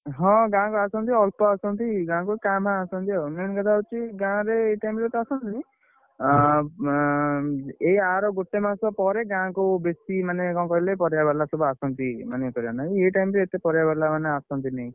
ହଁ ଗାଁ କୁ ଆସନ୍ତି ଅଳ୍ପ ଆସନ୍ତି ଗାଁ କୁ କାଁ ଭାଁଆସନ୍ତି ଆଉ, main କଥା ହଉଛି ଗାଁରେ ଏଇ time ରେ ତ ଆସନ୍ତିନି। ଆଁଏଇ ଆର ଗୋଟେ ମାସ ପରେ ଗାଁକୁ ବେଶୀ, ମାନେ କଣ କହିଲେ ପରିବାବାଲା ସବୁ ଆସନ୍ତି ମାନେ, ମାନେ ଏଇ time ରେ ଏତେ ପରିବାବାଲା ମାନେ ଆସନ୍ତିନି।